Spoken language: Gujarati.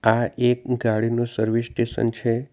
આ એક ગાડીનું સર્વિસ સ્ટેશન છે.